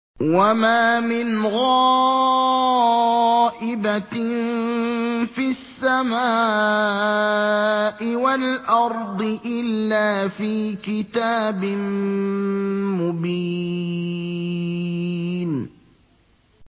وَمَا مِنْ غَائِبَةٍ فِي السَّمَاءِ وَالْأَرْضِ إِلَّا فِي كِتَابٍ مُّبِينٍ